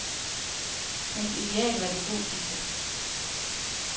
Hans ideal var det gotiske.